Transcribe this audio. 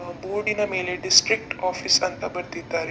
ಆ ಬೋರ್ಡ್ ನ ಮೇಲೆ ಡಿಸ್ಟ್ರಿಕ್ಟ್ ಆಫೀಸ್ ಅಂತ ಬರೆದಿದ್ದಾರೆ.